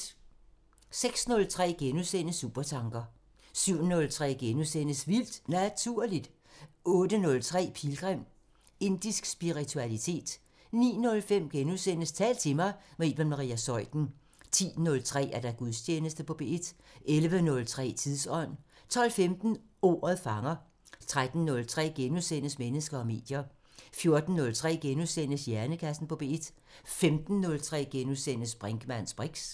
06:03: Supertanker * 07:03: Vildt Naturligt * 08:03: Pilgrim – Indisk spiritualitet 09:05: Tal til mig – med Iben Maria Zeuthen * 10:03: Gudstjeneste på P1 11:03: Tidsånd 12:15: Ordet fanger 13:03: Mennesker og medier * 14:03: Hjernekassen på P1 * 15:03: Brinkmanns briks *